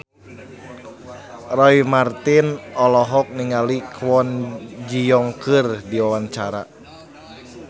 Roy Marten olohok ningali Kwon Ji Yong keur diwawancara